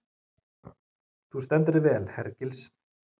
Þú stendur þig vel, Hergils!